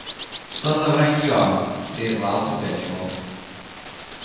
что за вранье прервал пугачёв